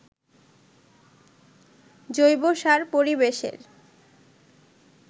জৈবসার পরিবেশের